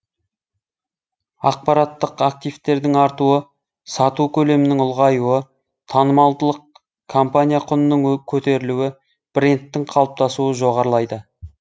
ақпараттық активтердің артуы сату көлемінің ұлғаюы танымалдылық компания құнының көтерілуі брендтің қалыптасуы жоғарылайды